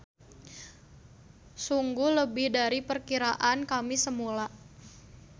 Sungguh lebih dari perkiraan kami semula.